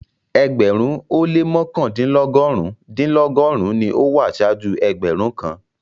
Ẹgbẹ̀rún-un o lẹ́ mọkandinlọgọ́run-dinlọgọ́run ní o wà ṣáàjú ẹgbẹ̀rún kàn.